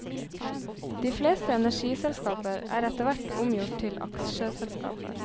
De fleste energiselskaper er etterhvert omgjort til aksjeselskaper.